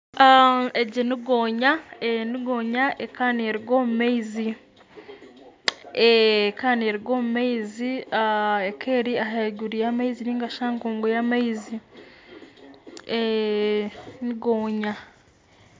Egi ni gonya, ni gonya ekaba neruga omu maizi, ekaba neruga omu maizi. Ekaba eri ahaiguru y'amaizi ningashi aha nkungu y'amaizi. Ni gonya!